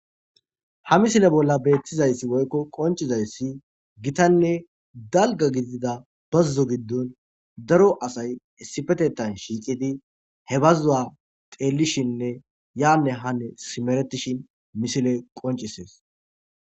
Ha misile bolla beetizaysi woyko qoncizaysi,gitanne dalga gidida bazzo gidon daro asay issipetethan shiiqidi,he bazzuwa xeelishene yaane haane simeretishin misiley qoncisees.